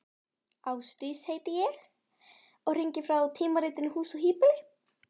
Ásdís heiti ég og hringi frá tímaritinu Hús og híbýli.